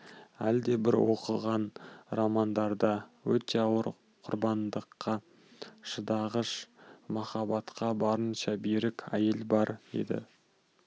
әлдебір бұл оқыған романдарда өте ауыр құрбандыққа шыдағыш махаббатқа барынша берік әйел бар еді